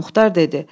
Ağamuxtar dedi: